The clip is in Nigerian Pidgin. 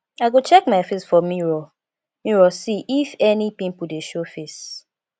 i go check my face for mirror mirror see if any pimple dey show face